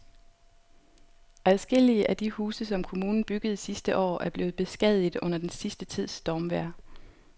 Adskillige af de huse, som kommunen byggede sidste år, er blevet beskadiget under den sidste tids stormvejr.